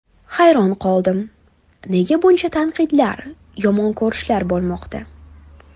Hayron qoldim, nega buncha tanqidlar, yomon ko‘rishlar bo‘lmoqda.